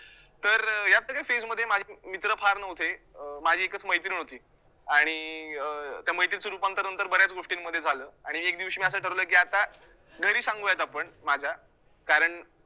तर अं या सगळ्या phase मध्ये माझे मित्र फार नव्हते, अं माझी एकच मैत्रीण होती आणि अं त्या मैत्रीचं रूपांतर नंतर बऱ्याच गोष्टींमध्ये झालं आणि एक दिवशी मी असं ठरवलं, की आता घरी सांगूयात आपण माझ्या, कारण